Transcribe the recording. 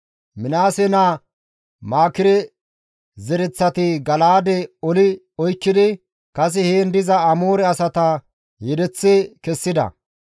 Minaase naa Maakire zereththati Gala7aade oli oykkidi kase heen diza Amoore asata yedeththi kessida.